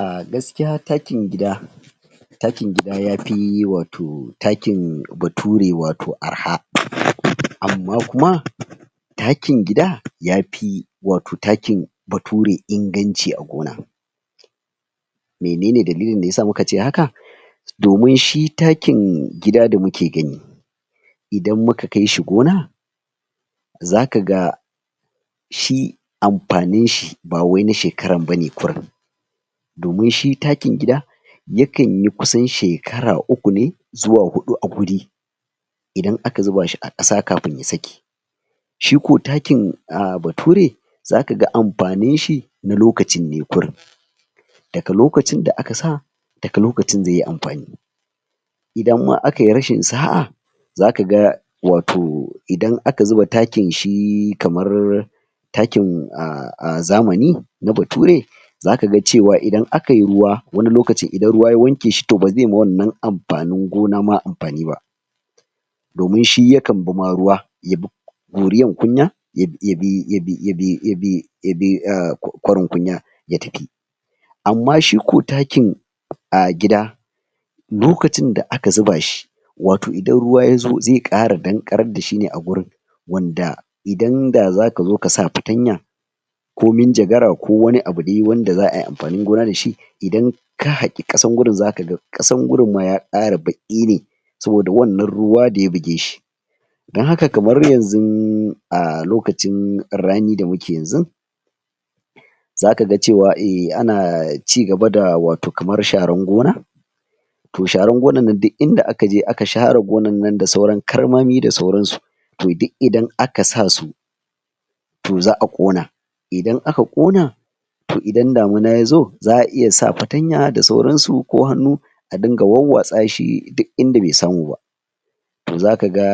A gaskiya takin gida takin gida yafi wato takin bature wato arha. Amma kuma takin gida, yafi, wato takin bature inganci a gona menene dalilin da yasa muka ce haka domin shi takin gida da muke gani idan muka kai shi gona zakaga shi amfanin shi ba wai na shekaran bane kurin domin shi takin gida ya kanyi kusan shekara uku ne zuwa huɗu a guri idan aka zuba shi a ƙasa kafin ya saki shi ko takin um bature zakaga amfanin shi na lokacin ne kurin daga lokacin da aka sa daga lokacin zai yi amfani idan ma akayi rashin sa'a zakaga wato idan aka zuba takin shi kamar takin um um zamani na bature zakaga cewa idan akayi ruwa wani lokacin idan ruwa ya wanke shi to bazai ma wannan amfanin gona ma amfani ba domin shi ya kan bi ma ruwa yabi goriyan kunya ya yabi yabi yabi yabi yabi umm kwarin kunya ya tafi amma shi ko takin um gida lokacin da aka zuba shi wato idan ruwa yazo zai ƙara danƙarar dashine a gurin wanda idan da zakazo kasa fatanya ko minjagara, ko wani abu dai wanda za ai amfanin gona dashi idan ka haƙi ƙasan gurin, zakaga ƙasan gurin ya ma ƙara baƙi ne saboda wannan ruwa da ya buge shi don haka kamar yanzu a lokacin rani da muke yanzun zakaga cewa um ana cigaba da wato kamar sharar gona to sharar gonar nan duk inda aka je aka share gonar nan da sauran karmami da sauransu to duk idan aka sa su to za'a ƙona idan aka ƙona to idan damina yazo, za'a iya sa fatanya da sauransu ko hannu a dinga warwatsa shi duk inda bai samu ba zakaga